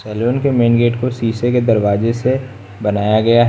salon के main gate को शीशे के दरवाजे से बनाया गया--